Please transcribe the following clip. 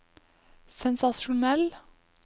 sensasjonell